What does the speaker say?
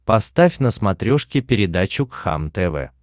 поставь на смотрешке передачу кхлм тв